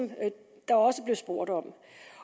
der også blev spurgt om